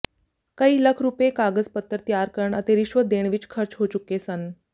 ਕਈ ਲੱਖ ਰੁਪਏ ਕਾਗਜ਼ ਪੱਤਰ ਤਿਆਰ ਕਰਨ ਅਤੇ ਰਿਸ਼ਵਤ ਦੇਣ ਵਿੱਚ ਖਰਚ ਹੋ ਚੁੱਕੇ ਸਨ